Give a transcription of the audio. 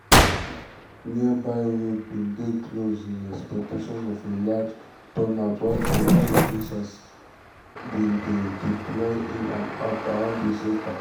nearby roads bin dey closed in expectation of a large turnout while police officers police officers bin dey deployed in and around di centre.